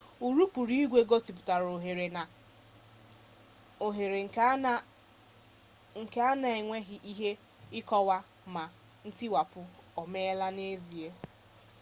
urukpu igwe gosipụtara ohere nke a na-enweghị ike ịkọwa ma ntiwapụ o meela n'ezie